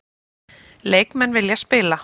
Leikmenn vilja spila